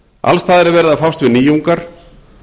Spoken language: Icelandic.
alls staðar er verið að fást við nýjungar